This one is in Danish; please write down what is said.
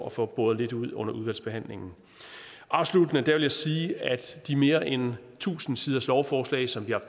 at få boret lidt ud under udvalgsbehandlingen afsluttende vil jeg sige at de mere end tusind siders lovforslag som vi har